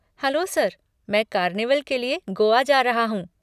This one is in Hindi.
हैलो सर, मैं कार्निवल के लिए गोआ जा रहा हूँ।